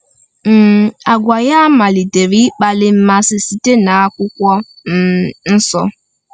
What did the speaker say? um Àgwà ya malitere ịkpali mmasị site n’akwụkwọ um nsọ.